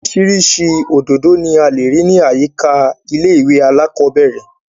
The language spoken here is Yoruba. Orísirísi òdòdó ni a lè rí ní àyíká ilé ìwé alákọ́bẹ̀rẹ̀